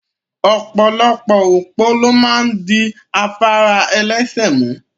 Opolopo opo lo maa n di afara elese mu